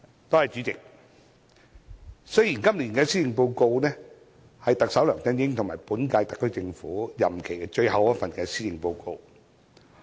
代理主席，今年的施政報告是特首梁振英和本屆特區政府任期的最後一份。